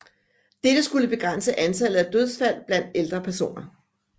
Dette skulle begrænse antallet af dødsfald blandt ældre personer